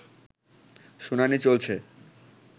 শুনানি চলছে